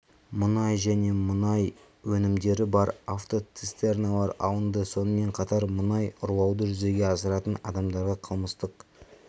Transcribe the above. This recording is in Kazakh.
мұнай және мұнай өнімдері бар автоцистерналар алынды сонымен қатар мұнай ұрлауды жүзеге асыратын адамдарға қылмыстық